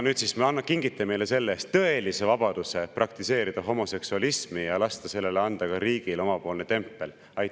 Nüüd siis kingite meile selle-eest tõelise vabaduse praktiseerida homoseksualismi ja lasta sellele ka riigil omalt poolt tempel panna.